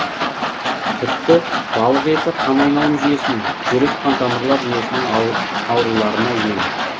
тіпті балық еті қанайналым жүйесінің жүрек қантамырлар жүйесінің ауруларына ем